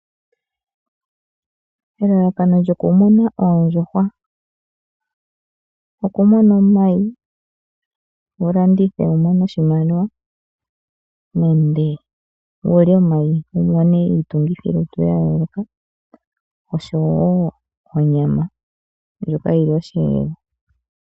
Elalakano lyo kumuna oondjuhwa, oku mona omayi wu landithe wu mone oshimaliwa nenge wulye omayi wu mone iitungithi lutu ya yooloka osho wo onyama ndjoka yili oshi elelwa.